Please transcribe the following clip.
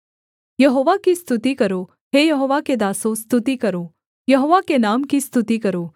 यहोवा की स्तुति करो हे यहोवा के दासों स्तुति करो यहोवा के नाम की स्तुति करो